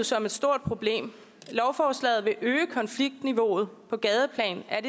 som et stort problem lovforslaget vil øge konfliktniveauet på gadeplan er